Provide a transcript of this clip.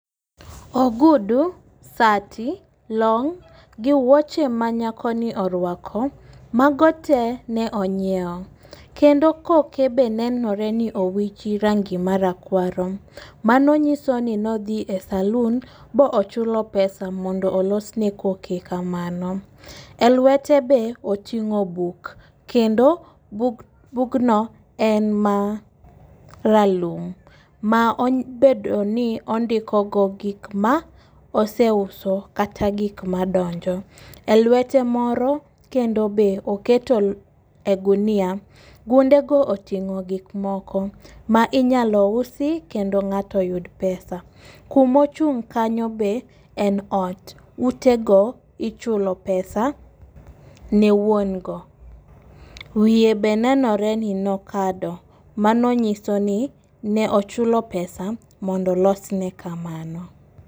Ogudu sati, long gi wuoche ma nyako ni orwako mago tee ne onyiewo, kendo koke be nenore ni owichi rangi marakwaro , mano nyiso ni nodhi e salun bochulo pesa mondo olosne koke kamano. E lwete be oting'o buk kendo buk bugno en maralum , ma obedo ni ondiko go gik ma oseuso kata gik madonjo . E lwete moro kendo be oketo e gunia, gunde go oting'o gik moko ma inyalo usi kendo ng'ato yud pesa .Kumochung' kanyo be ne ot utego ichulo pesa ne wuon go . Wiye be nenore ni nokado mano nyiso ni ne ochulo pesa mondo olos ne kamano.